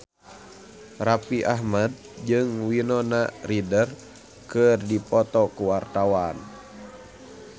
Raffi Ahmad jeung Winona Ryder keur dipoto ku wartawan